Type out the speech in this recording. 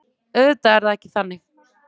Auðvitað er það ekki þannig.